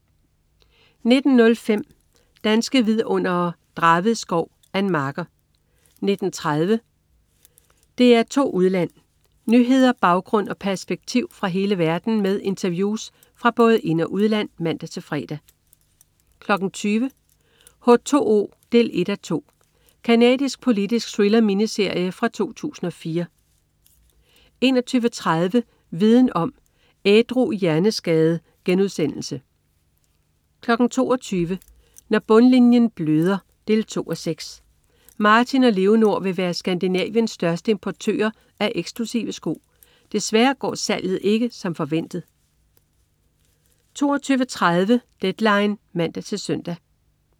19.05 Danske Vidundere: Draved Skov. Ann Marker 19.30 DR2 Udland. Nyheder, baggrund og perspektiv fra hele verden med interviews fra både ind- og udland (man-fre) 20.00 H2O 1:2. Canadisk politisk thriller-miniserie fra 2004 21.30 Viden om: Ædru hjerneskade* 22.00 Når bundlinjen bløder 2:6. Martin og Leonor vil være Skandinaviens største importører af eksklusive sko. Desværre går salget ikke som forventet 22.30 Deadline (man-søn)